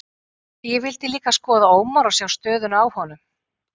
Ég vildi líka skoða Ómar og sjá stöðuna á honum.